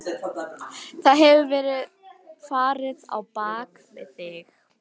Það hefur verið farið á bak við þig.